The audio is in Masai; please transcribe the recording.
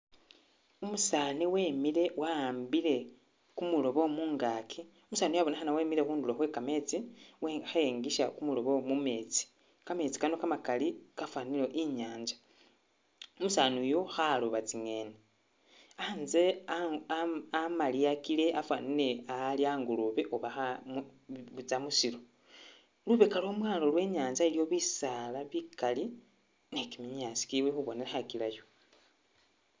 Umusaani wemile wa'ambile kumuloobo mungaki, umusaani uyu wabonekhana wemile khundulo khwe kametsi, khe'engisa kumuloobo mumetsi, kametsi Kano kamakali kafanile ori i'nyanza, umusaani uyu khalooba tsi'ngeni a'nse aa a amaliyakile afanile a ali a'ngoloobe oba kha.. butsa musilo, lubeka lwamwalo lwenyatsa iliyo bisaala bikali ne kiminyasi kili khubonekhakilayo